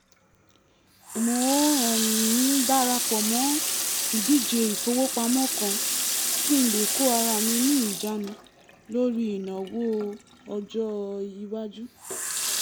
mo um dara pọ̀ mọ́ ìdíje ìfowópamọ́ kan kí n lè kó ara mi ní ìjánu lórí ìnáwó ọjọ́-ìwájú